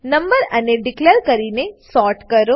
number array declare કરીને sort કરો